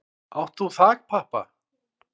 Átt þú þakpappa?